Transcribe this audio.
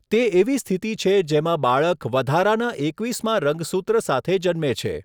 તે એવી સ્થિતિ છે જેમાં બાળક વધારાના એકવીસમા રંગસૂત્ર સાથે જન્મે છે.